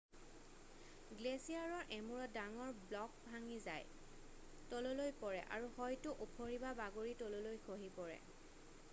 গ্লেচিয়াৰৰ এমূৰত ডাঙৰ ব্লক ভাগি যায় তললৈ পৰে আৰু হয়তো ওফৰি বা বাগৰি তললৈ খহি পৰে